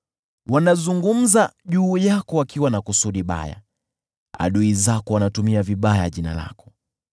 Wanazungumza juu yako wakiwa na kusudi baya, adui zako wanatumia vibaya jina lako.